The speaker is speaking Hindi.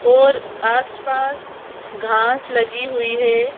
और आसपास घास लगी हुई है।